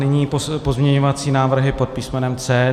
Nyní pozměňovací návrhy pod písmenem C.